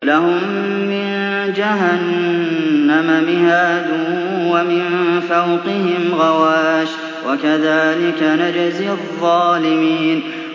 لَهُم مِّن جَهَنَّمَ مِهَادٌ وَمِن فَوْقِهِمْ غَوَاشٍ ۚ وَكَذَٰلِكَ نَجْزِي الظَّالِمِينَ